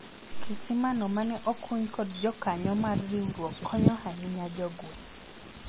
kisima no mane okuny kod jokanyo mar riwruok konyo ahinya jogweng'